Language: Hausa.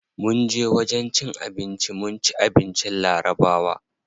Munje wajen cin abinci mun ci abincin larabawa.